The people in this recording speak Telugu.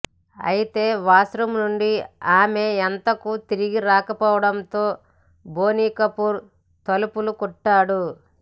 అయితే వాష్రూమ్ నుండి ఆమె ఎంతకు తిరిగి రాకపోవడంతో బోని కపూర్ తలుపులు కొట్టాడు